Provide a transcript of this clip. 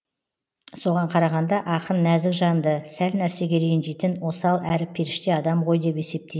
соған қарағанда ақын нәзік жанды сәл нәрсеге ренжитін осал әрі періште адам ғой деп есептей